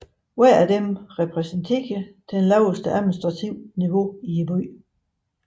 Hvert af dem repræsenterer det laveste administrative niveau i byen